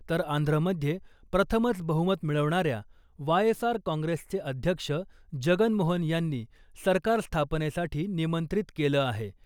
तर आंध्रमध्ये प्रथमच बहुमत मिळवणाऱ्या वाय एस आर काँग्रेसचे अध्यक्ष जगनमोहन यांनी सरकार स्थापनेसाठी निमंत्रित केलं आहे .